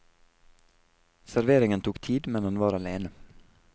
Serveringen tok tid, men han var alene.